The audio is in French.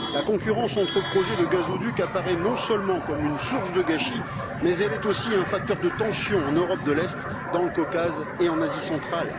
La concurrence entre projets de gazoducs apparaît non seulement comme une source de gâchis, mais elle est aussi un facteur de tensions en Europe de l'Est, dans le Caucase et en Asie centrale.